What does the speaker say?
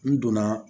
N donna